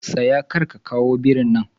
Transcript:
Tsaya! karka kawo birin nan.